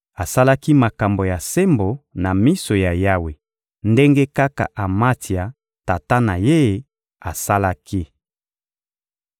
Asalaki makambo ya sembo na miso ya Yawe ndenge kaka Amatsia, tata na ye, asalaki.